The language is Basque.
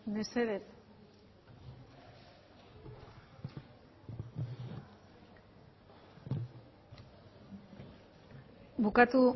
mesedez bukatu